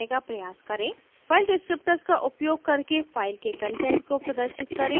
file descriptors का उपयोग करके file के कंटेंट को प्रदर्शित करें